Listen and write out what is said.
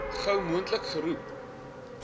gou moontlik geroep